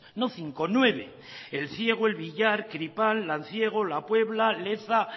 no cinco nueve elciego elvillar tripal lanciego lapuebla leza